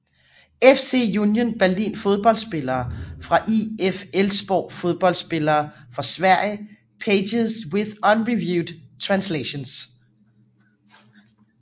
FC Union Berlin Fodboldspillere fra IF Elfsborg Fodboldspillere fra Sverige Pages with unreviewed translations